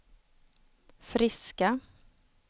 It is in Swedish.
friska